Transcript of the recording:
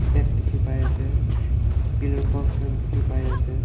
dikhi pai ase pillar post khan dikhi pai ase.